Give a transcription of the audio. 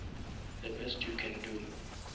the best you can do